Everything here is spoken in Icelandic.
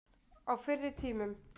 Á fyrri tímum.